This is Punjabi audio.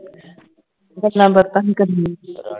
ਗੱਲਾਂ ਬਾਤਾਂ ਨਹੀਂ ਕਰਨੀਆਂ